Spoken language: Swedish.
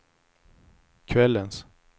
kvällens